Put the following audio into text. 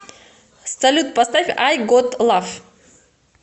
салют поставь ай гот лав